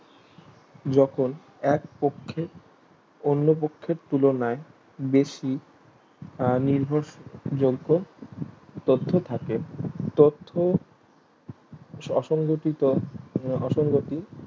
যখন এক পক্ষে অন্য পক্ষের তুলনায় বেশি আহ নির্ভর যোগ্য তত্ত্ব থাকে তত্ত্ব অসংহতিত অসংহতি